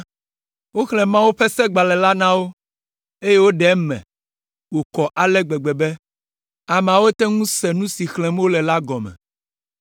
Woxlẽ Mawu ƒe Segbalẽ la na wo, eye woɖe eme wòkɔ ale gbegbe be, ameawo te ŋu se nu si xlẽm wole la gɔme.